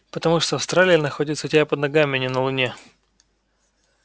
потому что австралия находится у тебя под ногами а не на луне